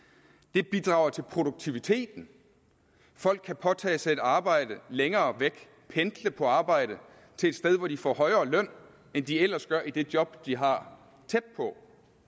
det bidrager til produktiviteten folk kan påtage sig et arbejde længere væk og pendle på arbejde til et sted hvor de får højere løn end de ellers gør i det job de har tæt på